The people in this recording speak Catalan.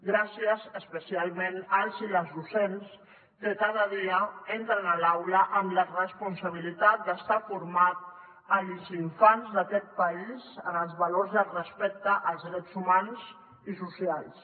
gràcies especialment als i les docents que cada dia entren a l’aula amb la responsabilitat d’estar formant els infants d’aquest país en els valors de respecte als drets humans i socials